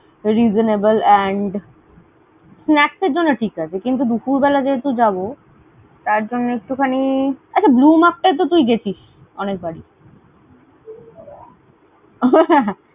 Resonable and snacks এর জন্য ঠিক আছে, কিন্তু দুপুরবেলা যেহেতু যাবো, তার জন্য একটুখানি, আচ্ছা blue mark টায় তো তুই গেছিস অনেকবারই?